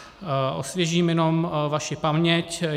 Osvěžím jenom vaši paměť.